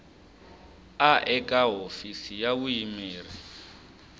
a eka hofisi ya vuyimeri